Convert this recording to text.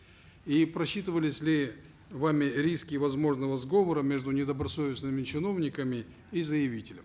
и просчитывались ли вами риски возможного сговора между недобросовестными чиновниками и заявителем